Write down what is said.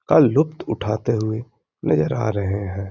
का लुप्त उठाते हुए नजर आ रहें हैं।